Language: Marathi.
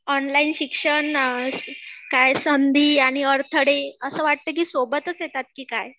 ऑनलाईन शिक्षण काय संधी आणि अडथळे असं वाटतं की सोबतच येतात की काय